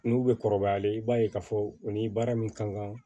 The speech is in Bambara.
N'u bɛ kɔrɔbayalen i b'a ye k'a fɔ o ni baara min ka kan